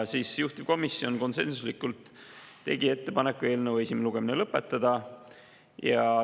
Juhtivkomisjon tegi konsensuslikult ettepaneku eelnõu esimene lugemine lõpetada.